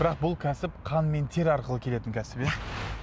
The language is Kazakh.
бірақ бұл кәсіп қан мен тер арқылы келетін кәсіп иә